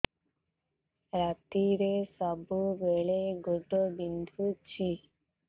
ରାତିରେ ସବୁବେଳେ ଗୋଡ ବିନ୍ଧୁଛି